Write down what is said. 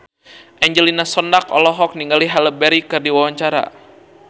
Angelina Sondakh olohok ningali Halle Berry keur diwawancara